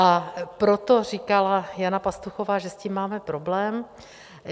A proto říkala Jana Pastuchová, že s tím máme problém.